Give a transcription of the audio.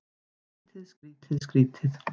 Skrýtið, skrýtið, skrýtið.